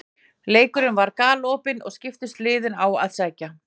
Leikurinn var galopinn og skiptust liðin á að sækja.